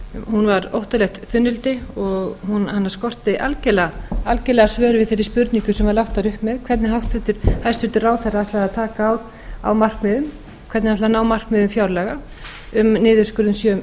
hún var óttalegt þunnildi og hana skorti algjörlega svör við þeirri spurningu sem lagt var upp með hvernig hæstvirtur ráðherra ætlaði að taka á markmiðum hvernig hann ætlaði að ná markmiðum fjárlaga um niðurskurð